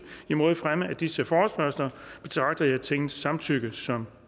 mod fremme af disse forespørgsler betragter jeg tingets samtykke som